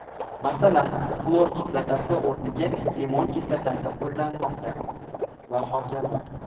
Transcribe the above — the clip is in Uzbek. Masalan, xlor kislotasi o‘rniga limon kislotasi qo‘llanmoqda va hokazo.